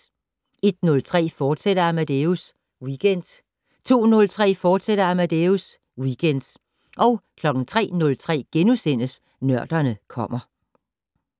01:03: Amadeus Weekend, fortsat 02:03: Amadeus Weekend, fortsat 03:03: Nørderne kommer *